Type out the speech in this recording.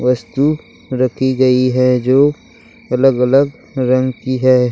वस्तु रखी गयी है जो अलग-अलग रंग की है।